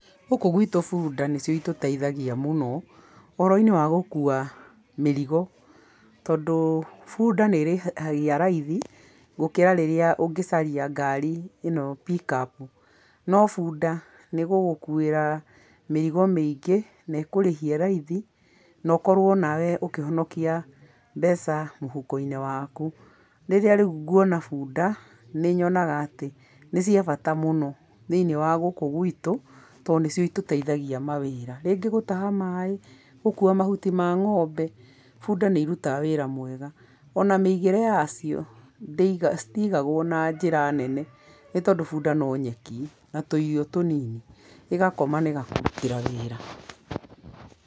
Gũkũ gwĩtũ bunda nĩcio ĩtũteithagia mũno ũhoro-inĩ wa gũkua mĩrigo tondũ bunda nĩrĩhagia raithi gũkĩra rĩrĩa ũngĩcaria ngari ĩno pick up, no bunda nĩgũgũkuĩra mĩrigo mĩingĩ na ĩkũrĩhie raithi na ũkorwo nawe ũkĩhonokia mbeca mũhuko-inĩ waku. Rĩrĩa rĩu nguona bunda, nĩ nyonaga atĩ nĩ cia bata mũno thĩiniĩ wa gũkũ gwĩtũ, tondũ nĩcio itũteithagia mawĩra, rĩngĩ gũtaha maĩ, gũkua mahuti ma ng'ombe. Bunda nĩ irutaga wĩra mwega, ona mĩigĩre yacio, citigagwo na njĩra nene nĩ tondũ bunda no nyeki na tũirio tũnini ĩgakoma na ĩgakũrutĩra wĩra.